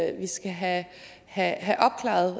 at vi skal have have opklaret